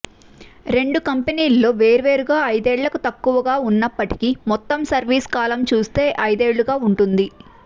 రెండు కంపెనీల్లో వేర్వేరుగా ఐదేళ్లకు తక్కువగా ఉన్నప్పటికీ మొత్తం సర్వీస్ కాలం చూస్తే ఐదేళ్లుగా ఉంటుంది